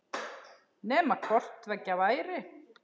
Nema hvort tveggja væri.